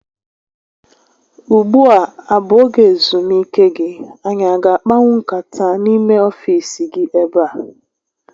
Ugbua a bụ oge ezumike gị? Anyị a ga akpanwu nkata n'ime ọfiisi gi ebe a?